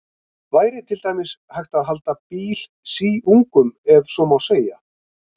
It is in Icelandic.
Væri til dæmis hægt að halda bíl síungum, ef svo má segja?